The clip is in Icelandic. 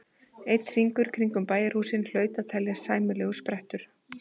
Einn hringur kringum bæjarhúsin hlaut að teljast sæmilegur sprettur.